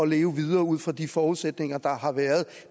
leve videre ud fra de forudsætninger der har været